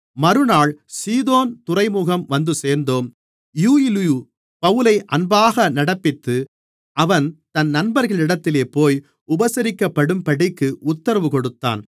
மறுநாள் சீதோன் துறைமுகம் வந்துசேர்ந்தோம் யூலியு பவுலை அன்பாக நடப்பித்து அவன் தன் நண்பர்களிடத்திலே போய் உபசரிக்கப்படும்படிக்கு உத்தரவு கொடுத்தான்